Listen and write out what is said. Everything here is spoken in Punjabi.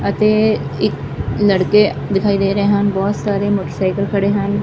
ਅਤੇ ਇੱਕ ਲੜਕੇ ਦਿਖਾਈ ਦੇ ਰਹੇ ਹਨ ਬਹੁਤ ਸਾਰੇ ਮੋਟਰਸਾਈਕਲ ਖੜੇ ਹਨ।